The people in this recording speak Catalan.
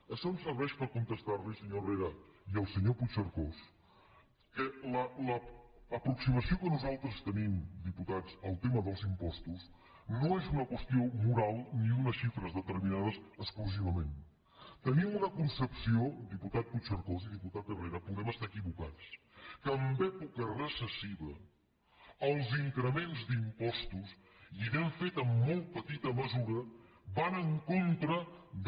això em serveix per contestar li senyor herrera i al senyor puigcercós que l’aproximació que nosaltres tenim diputats al tema dels impostos no és una qüestió moral ni d’unes xifres determinades exclusivament tenim una concepció diputat puigcercós i diputat herrera podem estar equivocats que en època recessiva els increments d’impostos i n’hem fet amb molt petita mesura van en contra de